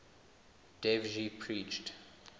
dev ji preached